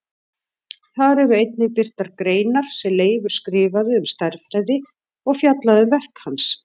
Þar eru einnig birtar greinar sem Leifur skrifaði um stærðfræði og fjallað um verk hans.